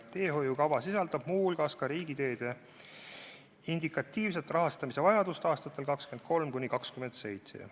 Teehoiukava sisaldab muu hulgas riigiteede indikatiivset rahastamisvajadust aastateks 2023–2027.